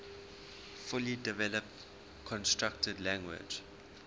fully developed constructed language